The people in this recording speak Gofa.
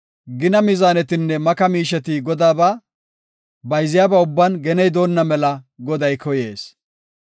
Gina mizaanetinne maka miisheti Godaaba; bayziyaba ubban geney doonna mela Goday koyees.